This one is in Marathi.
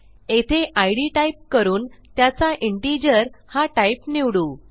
येथे इद टाईप करून त्याचा इंटिजर हा टाईप निवडू